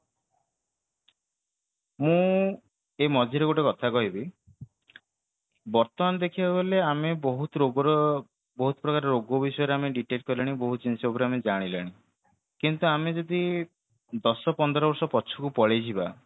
ମୁଁ ଏଇ ମଝିରେ ଗୋଟେ କଥା କହିବି ବର୍ତମାନ ଦେଖିବାକୁ ଗଲେ ଆମେ ବହୁତ ରୋଗର ବହୁତ ପ୍ରକାର ରୋଗ ବିଷୟରେ ଆମେ detect କଲେଣି ବହୁତ ଜିନିଷ ଗୁରା ଆମେ ଜାଣିଲେଣି କିନ୍ତୁ ଆମ ଯଦି ଦଶ ପନ୍ଦର ବର୍ଷ ପଛକୁ ପଳେଇଯିବା